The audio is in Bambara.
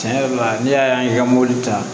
Tiɲɛ yɛrɛ la n'i y'a ye i ka mɔbili ta